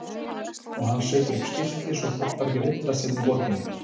Og hann setur upp skilti svo fólk fari ekki að villast hérna í borginni.